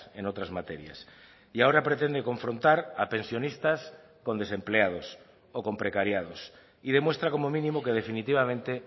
en otras materias y ahora pretende confrontar a pensionistas con desempleados o con precariados y demuestra como mínimo que definitivamente